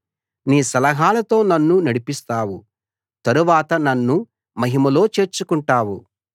నీ సలహాలతో నన్ను నడిపిస్తావు తరువాత నన్ను మహిమలో చేర్చుకుంటావు